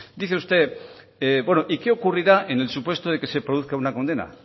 dice usted qué ocurrirá en el supuesto que se produzca una condena